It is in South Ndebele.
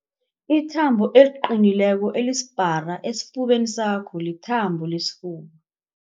Ithambo eliqinileko elisipara esifubeni sakho lithambo lesifuba.